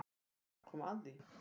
Þar kom að því